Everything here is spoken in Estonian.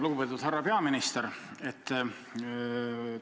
Lugupeetud härra peaminister!